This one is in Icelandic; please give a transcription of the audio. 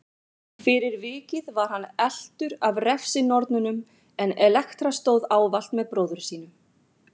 Fyrir vikið var hann eltur af refsinornunum en Elektra stóð ávallt með bróður sínum.